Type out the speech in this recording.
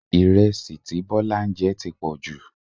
Ìrẹsì tí Bọ́lá ń jẹ ti pọ̀jù